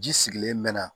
Ji sigilen mɛ na